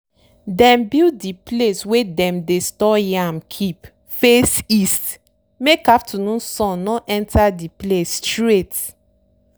dem build de place wey dem dey store yam keep face east make afternoon sun no enter de place straight.